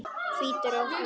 Hvítur á hörund.